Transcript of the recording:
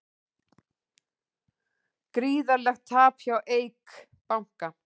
Gríðarlegt tap hjá Eik banka